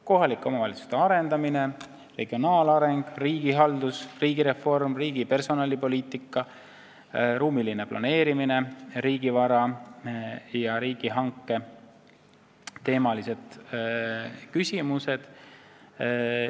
Kohalike omavalitsuste arendamine, regionaalareng, riigihaldus, riigireform, riigi personalipoliitika, ruumiline planeerimine, riigivara ja riigihanke teemalised küsimused.